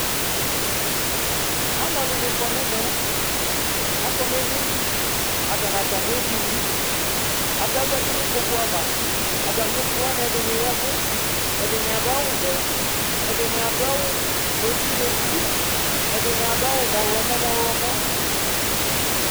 ɑluɛdini kɔnɛmɛ ɑkonɛdini ɑtɑ nɑtɑmiɛvini ɑtɑzɑti nikpokuɑvɑ ɑtɑmiɛviwɑ ɛdiniyɛwu ɛdiniɑdu ɑwuvɛ ɛdinia duɑwu muɛti muɛtiɛdiniaduwu muhlomo mohlomo